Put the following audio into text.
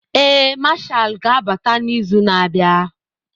Ee, Mashal ga-abata n'izu na-abịa.